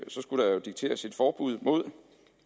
så skulle dikteres et forbud mod